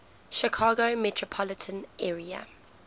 chicago metropolitan area